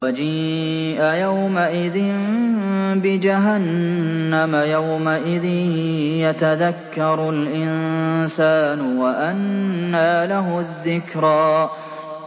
وَجِيءَ يَوْمَئِذٍ بِجَهَنَّمَ ۚ يَوْمَئِذٍ يَتَذَكَّرُ الْإِنسَانُ وَأَنَّىٰ لَهُ الذِّكْرَىٰ